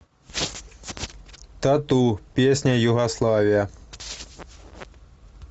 тату песня югославия